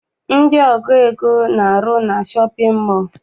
Ndị ọgụ ego na-arụ na shọpịn mọọ.